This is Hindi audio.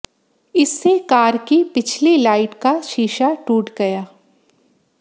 इससे कार की पिछली लाइट का शीशा टूट गया